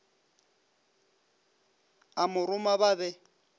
a mo roma ba be